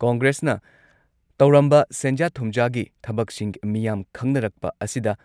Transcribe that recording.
ꯀꯣꯡꯒ꯭ꯔꯦꯁꯅ ꯇꯧꯔꯝꯕ ꯁꯦꯟꯖꯥ ꯊꯨꯝꯖꯥꯒꯤ ꯊꯕꯛꯁꯤꯡ ꯃꯤꯌꯥꯝ ꯈꯪꯅꯔꯛꯄ ꯑꯁꯤꯗ